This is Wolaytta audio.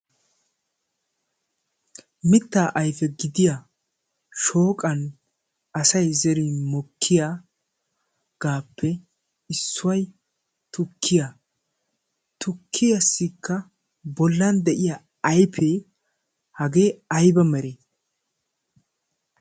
Mitta ayfe gidiya shooqqan asay zerin mokkiyage issoy tukkiya. Tukkiyasika bollan deiya ayfe hagee ayba mere?